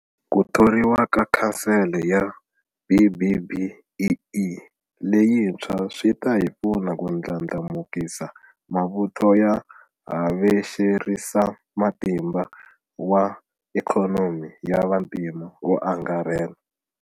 Ku thoriwa ka Khansele ya BBBEE leyintshwa swi ta hi pfuna ku ndlandlamukisa mavuthu ya havexerisamatimba wa ikhonomi ya vantima wo angarhela.